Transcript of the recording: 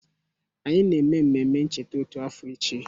Anyị na-eme mmemme ncheta otu afọ echi